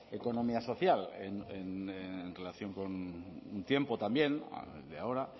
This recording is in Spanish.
economía social en relación con un tiempo también de ahora